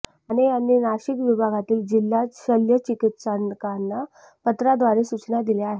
माने यांनी नाशिक विभागातील जिल्हा शल्य चिकित्सकांना पत्राद्वारे सूचना दिल्या आहेत